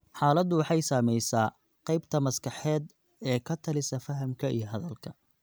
Xaaladdu waxay saamaysaa qaybta maskaxda ee ka talisa fahamka iyo hadalka.